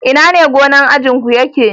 Ina ne gomnan ajinku yake?